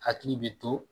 Hakili bi to